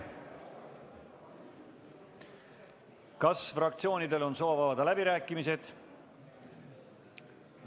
Kas fraktsioonidel on soov avada läbirääkimised?